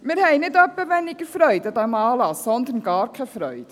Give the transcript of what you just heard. Wir haben nicht etwa weniger Freude an diesem Anlass, sondern gar keine Freude.